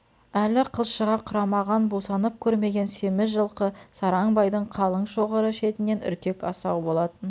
әлі қылшығы құрамаған бусанып көрмеген семіз жылқы сараң байдың қалың шоғыры шетінен үркек асау болатын